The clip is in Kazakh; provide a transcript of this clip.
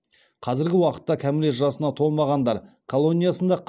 қазіргі уақытта кәмелет жасына толмағандар колониясында